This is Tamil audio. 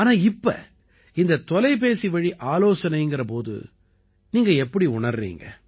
ஆனா இப்ப இந்த தொலைபேசி வழி ஆலோசனைங்கற போது எப்படி நீங்க உணர்றீங்க